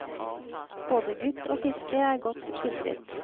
Både gutt og fiske er godt skildret.